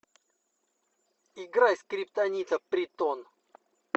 играй скриптонита притон